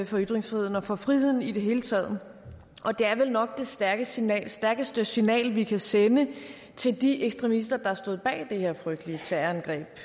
for ytringsfriheden og for friheden i det hele taget det er vel nok det stærkeste signal stærkeste signal vi kan sende til de ekstremister der stod bag det her frygtelige terrorangreb